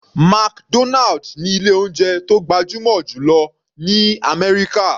McDonald ní ilé oúnjẹ tó gbajúmọ̀ jù lọ ní àmẹ́ríkà.